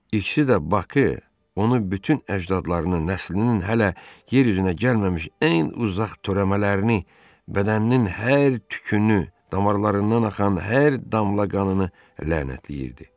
İkisi də Baxı, onu bütün əcdadlarının nəslinin hələ yer üzünə gəlməmiş ən uzaq törəmələrini, bədəninin hər tükünü, damarlarından axan hər damla qanını lənətləyirdi.